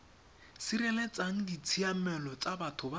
sireletsang ditshiamelo tsa batho ba